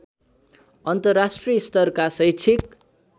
अन्तर्राष्ट्रिय स्तरका शैक्षिक